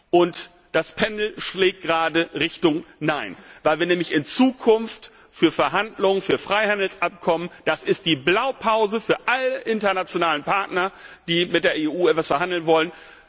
Und das Pendel schlägt gerade in Richtung Nein, weil wir nämlich für zukünftige Verhandlungen über Freihandelsabkommen die Blaupause für alle internationalen Partner liefern, die mit der EU etwas verhandeln wollen.